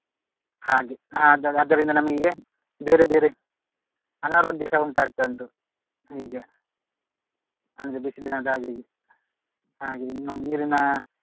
ಹಾಗೆ ಅದರಿಂದ ನಮಿಗೆ ಬೇರೆ ಬೇರೆ ಅನಾರೋಗ್ಯಸ ಉಂಟಾಗ್ತಾ ಉಂಟು ಹೀಗೆ ಅಂದ್ರೆ ಬಿಸಿಲಿನ ಧಗೆಗೆ ಹಾಗೆ ಇನ್ನು ನೀರಿನ